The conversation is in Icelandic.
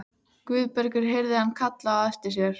Guðbergur heyrði hann kallað á eftir sér.